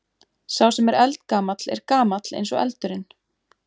Sá sem er eldgamall er gamall eins og eldurinn.